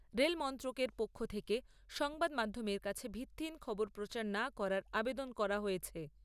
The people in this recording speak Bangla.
রেল মন্ত্রকের পক্ষ থেকে সংবাদ মাধ্যমের কাছে ভিত্তিহীন খবর প্রচার না করার আবেদন করা হয়েছে।